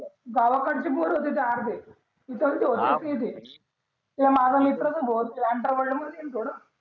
गावाकडची पोर होते ते अर्धे त्याहीले ओळखत नि ते माझा मित्र भी भो अंडर वर्ल्ड मधी हेन थोडं